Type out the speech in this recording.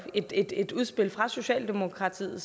et egentligt udspil fra socialdemokraterne